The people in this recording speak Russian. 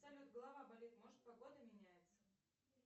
салют голова болит может погода меняется